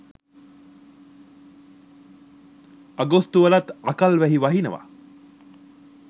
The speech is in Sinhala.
අගෝස්තු වලත් අකල් වැහි වහිනව.